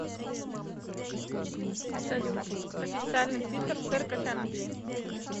салют официальный твиттер церковь англии